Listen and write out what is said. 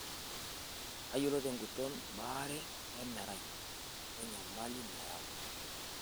Tayiolo tenguton baare emerai wenyamali nayau.